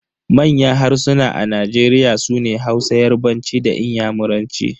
Manyan harsuna a Nigeria sune Hausa, yarbanci da inyamuranci.